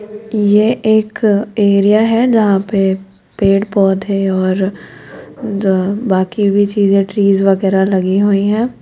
ये एक एरिया है जहां पे पेड़ पौधे और बाकी भी चीजें ट्रीज वगैरा लगी हुई है।